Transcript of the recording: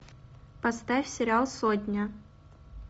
поставь сериал сотня